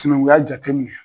Tinɛŋuya jateminɛ